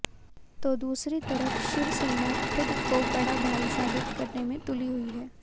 तो दूसरी तरफ शिवसेना खुद को बड़ा भाई साबित करने में तुली हुई है